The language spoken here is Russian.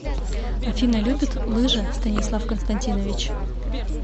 афина любит лыжи станислав константинович